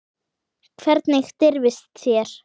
Hvernig dirfist þér.